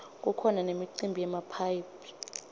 kukhona nemicimbi yemaphayhi